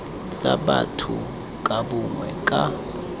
tsa batho ka bongwe ka